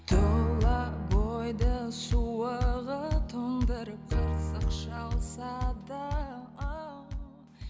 тұла бойды суығы тыңдырып